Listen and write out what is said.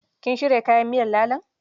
Kin shirya kayan miyar lalon?